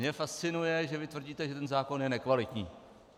Mě fascinuje, že vy tvrdíte, že ten zákon je nekvalitní.